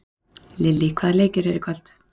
Lillý, hvaða leikir eru í kvöld?